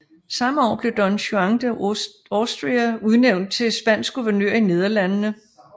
Samme år blev Don Juan de Austria udnevnt til ny spansk guvernør i Nederlandene